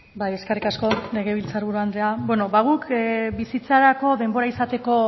bai eskerrik asko legebiltzar buru andrea bueno ba guk bizitzarako denbora izateko